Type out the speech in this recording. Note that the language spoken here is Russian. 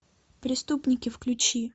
преступники включи